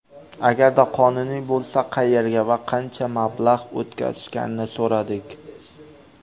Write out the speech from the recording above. Agarda qonuniy bo‘lsa, qayerga va qancha mablag‘ o‘tkazishganini so‘radik.